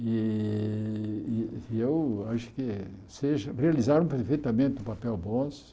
E e eu acho que vocês realizaram perfeitamente o papel.